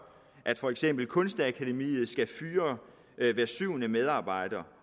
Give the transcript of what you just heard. at for eksempel kunstakademiet skal fyre hver syvende medarbejder